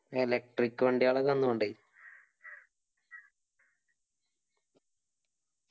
electric വണ്ടിയാ